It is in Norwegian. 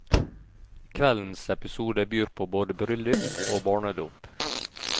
Kveldens episode byr både på bryllup og barnedåp.